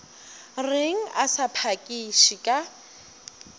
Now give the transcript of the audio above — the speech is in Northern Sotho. reng a sa phakiše ka